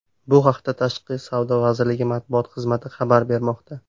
Bu haqda Tashqi savdo vazirligi matbuot xizmati xabar bermoqda .